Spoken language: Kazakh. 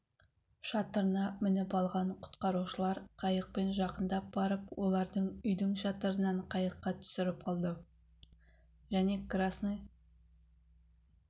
шатырына мініп алған құтқарушылар қайықпен жақындап барып олардың үйдің шатырынан қайыққа түсіріп алды және қрасный